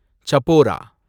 சபோரா